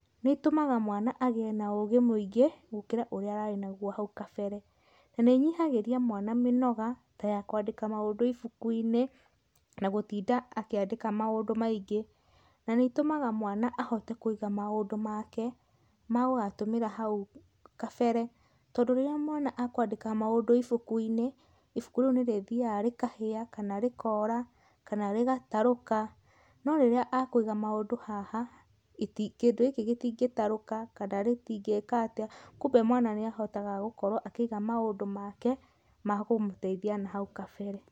Nĩ ĩtũmaga mwana agĩe na ũgĩ mwingĩ, gũkĩra ũria ararĩ naguo hau kabere. Nĩ ĩnyihagĩria mwana mĩnoga ta ya kwandĩka maũndũ ibuku-inĩ, na gũtinda akĩandĩka maũndũ maingĩ. Nĩ ĩtũmaga mwana ahote kũiga maũndũ make ma gũgatũmĩra hau kabere, tondũ rĩrĩa mwana ekwandĩka maũndũ ibuku-inĩ, ibuku rĩu nĩ rĩthiaga rĩkahĩa na rĩkora kana rĩgatarũka, no rĩrĩa ekwiga maũndũ haha, kĩndũ gĩkĩ gĩtingĩtarũka kana gĩtingĩka atĩa, kwoguo mwana nĩ ahotaga gũkorwo akĩiga maũndũ make ma kũmũteithia nahau kabere.